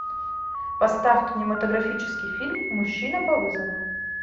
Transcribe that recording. поставь кинематографический фильм мужчина по вызову